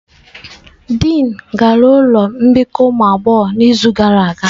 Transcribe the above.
Dịin gara ụlọ mbikọ ụmụ agbọghọ n'izu gara aga.